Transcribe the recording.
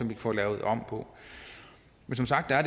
kan få lavet om på men som sagt er